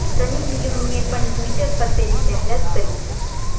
સની લિયોનીએ પણ ટ્વિટર પર તેની જાહેરાત કરી છે